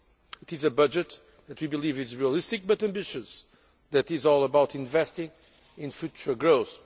It is a budget that we believe is realistic but ambitious, and that is all about investing in future growth.